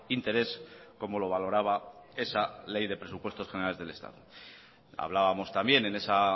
interés como lo valoraba esa ley de presupuestos generales del estado hablábamos también en esa